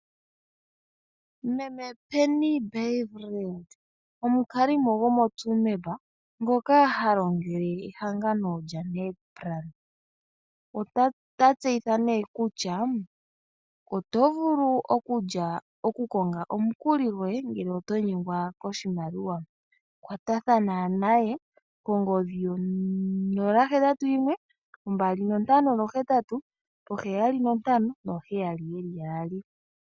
Meme Penny Byleveld omukalimo gomo Tsumeb ngoka halongele ehangano lya Nedplan. Ota tseyitha nee kutya oto vulu okukonga omukuli goye ngele oto nyengwa koshimaliwa. Kwatathana naye kongodhi yo 0812587577.